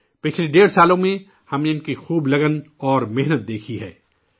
پچھلے ڈیڑھ سالوں میں ہم نے ان کی لگن اور جانفشانی خوب دیکھی ہے